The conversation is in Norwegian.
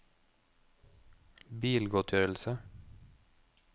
bilgodtgjørelse